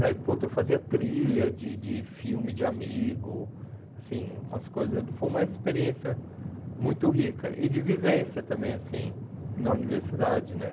Aí, pô, eu fazia trilha de de filme de amigo, assim, umas coisas, foi uma experiência muito rica e de vivência também, assim, na universidade, né?